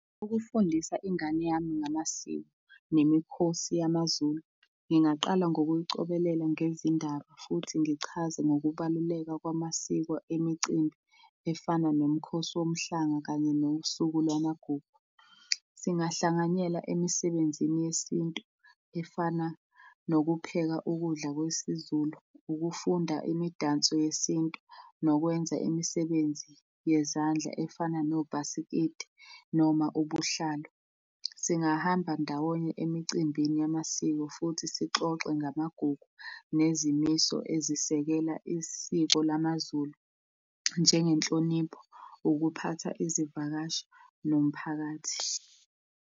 Ukufundisa ingane yami ngamasiko nemikhosi yamaZulu, ngingaqala ngokuyicobelela ngezindaba futhi ngichaze ngokubaluleka kwamasiko, imicimbi efana nomkhosi womhlanga kanye nosuku lwamagugu. Singahlanganyela emisebenzini yesintu efana nokupheka ukudla kwesiZulu, ukufunda imidanso yesintu nokwenza imisebenzi yezandla efana nobhasikidi noma ubuhlalu. Singahamba ndawonye emicimbini yamasiko futhi sixoxe ngamagugu nezimiso ezisekela isiko lamaZulu, njengenhlonipho, ukuphatha izivakashi nomphakathi.